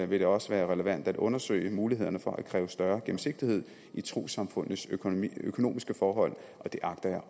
vil det også være relevant at undersøge mulighederne for at kræve større gennemsigtighed i trossamfundenes økonomiske økonomiske forhold og det agter